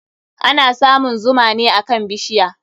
Ana samun zuma ne akan bishiya.